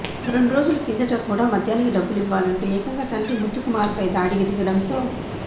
రెండు రోజుల కిందట కూడా మద్యానికి డబ్బులివ్వాలంటూ ఏకంగా తండ్రి ముత్తుకుమార్పై దాడికి దిగడంతో